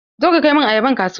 Zo ka kai min ayaban kasuwa!